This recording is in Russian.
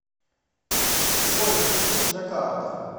джой включи джакарта